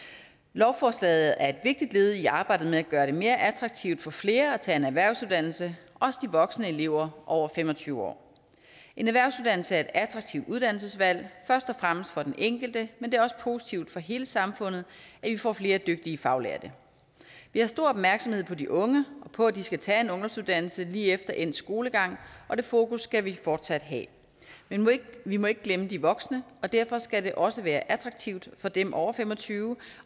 lovforslaget er et vigtigt led i arbejdet med at gøre det mere attraktivt for flere at tage en erhvervsuddannelse også de voksne elever over fem og tyve år en erhvervsuddannelse attraktivt uddannelsesvalg først og fremmest for den enkelte men det er også positivt for hele samfundet at vi får flere dygtige faglærte vi har stor opmærksomhed på de unge og på at de skal tage en ungdomsuddannelse lige efter endt skolegang og det fokus skal vi fortsat have men vi må ikke glemme de voksne og derfor skal det også være attraktivt for dem over fem og tyve